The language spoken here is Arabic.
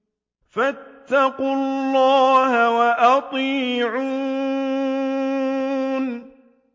فَاتَّقُوا اللَّهَ وَأَطِيعُونِ